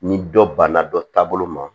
Ni dɔ banna dɔ taa bolo ma